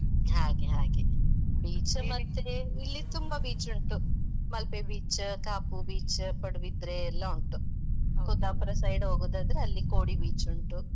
ಹಾಗೆ ಹಾಗೆ. Beach ಇಲ್ಲಿ ತುಂಬಾ beach ಉಂಟು . ಮಲ್ಪೆ beach , ಕಾಪು beach , ಪಡುಬಿದ್ರೆ ಎಲ್ಲ ಉಂಟು. side ಹೋಗುದಾದ್ರೆ ಅಲ್ಲಿ ಕೋಡಿ beach ಉಂಟು.